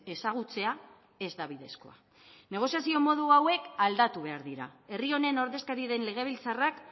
ezagutzea ez da bidezkoa negoziazio modu hauek aldatu behar dira herri honen ordezkari den legebiltzarrak